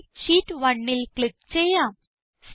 ആദ്യമായി ഷീറ്റ് 1ൽ ക്ലിക്ക് ചെയ്യാം